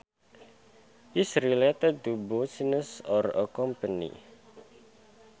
is related to business or a company